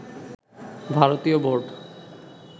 ভারতীয় বোর্ড